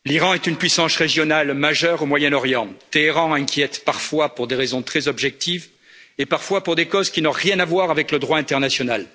Madame la Présidente, l'Iran est une puissance régionale majeure au Moyen Orient. Téhéran inquiète parfois pour des raisons très objectives et parfois pour des causes qui n'ont rien à voir avec le droit international.